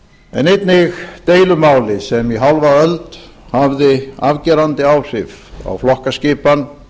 en einnig deilumáli sem í hálfa öld hafði afgerandi áhrif á flokkaskipan